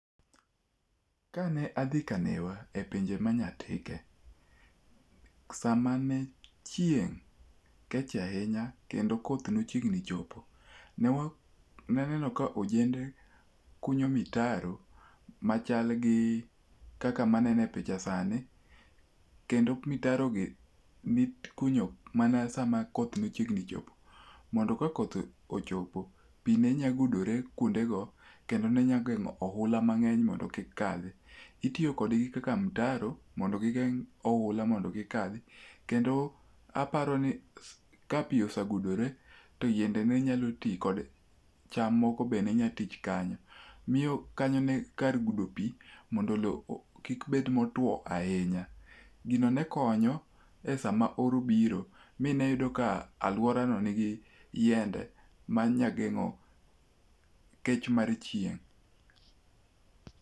Kane adhi kaneya epinje ma Nyatike, samane chieng' kech ahinya kendo koth ne chiegni chopo, ne aneno ka ojende kunyo mitaro machal gi kaka maneno e picha sani, kendo mitarogi ne ikunyo mana sama koth ne chiegni chopo, mondo ka koth ochopo, pi ne nyalo gudore kuondego kendo ne nyalo geng'o oula mang'eny mondo kik kadhi. Itiyo kodgi kaka mitaro mondo gigeng' oula mondo kik kadhi. Kendo aparoni ka pi osegudore to yiende ne nyalo twi kod cham moko be ne nyalo twi kanyo. Miyo kanyo ne en kar gudo pi mo do lowo kik bed motwo ahinya. Gino ne konyo esama oro biro mie yudo ka aluorano nigi yiende ma nya geng'o kech mar chieng'.